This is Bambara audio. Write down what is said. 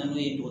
N'o ye